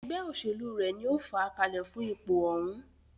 Ẹgbẹ́ òṣèlú rẹ̀ ní o fàá kalẹ̀ fún ipò òhún.